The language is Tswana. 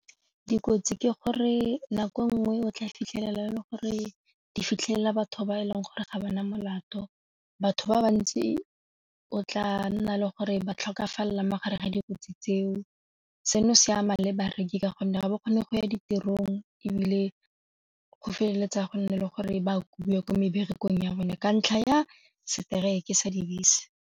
Dikotsi ke gore nako nngwe o tla fitlhela e le gore di fitlhelele batho ba e leng gore ga bana molato batho ba bantsi o tla nna le gore ba tlhokafala mo gare ga dikotsi tseo, seno se ama le bareki ka gonne ga ba kgone go ya ditirong ebile go feleletsa go nne le gore ba kubiwa ko meberekong ya bone ka ntlha ya seteraeke sa dibese.